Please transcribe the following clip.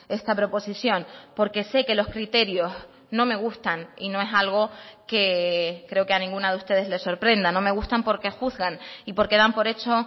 esta proposición porque sé que los criterios no me gustan y no es algo que creo que a ninguna de ustedes les sorprenda no me gustan porque juzgan y porque dan por hecho